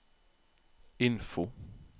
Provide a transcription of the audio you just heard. info